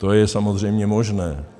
To je samozřejmě možné.